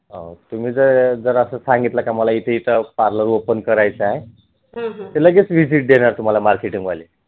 जर अस सांगितल की मला इथे इथे parlor open करायच आहे तर लगेच visit देणार तुम्हाला marketing वाले